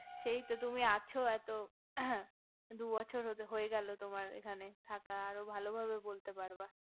সেই তো তুমি আছো এত দুবছর হয়ে গেলো তোমার এখানে থাকা আরো ভালো ভাবে বলতে পারবা